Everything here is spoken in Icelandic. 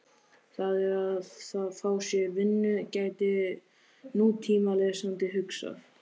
Þá er að fá sér vinnu, gæti nútímalesandi hugsað.